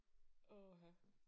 Åh ha